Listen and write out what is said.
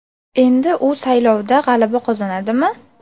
Endi u saylovda g‘alaba qozonadimi?.